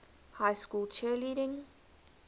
high school cheerleading